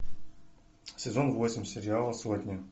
сезон восемь сериала сотня